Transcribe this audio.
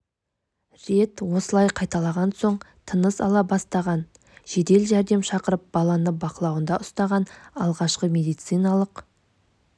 рет осылай қайталаған соң тыныс ала бастаған жедел жәрдем шақырып баланы бақылауында ұстаған алғашқы медициналық